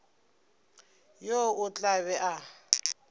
yo o tla be a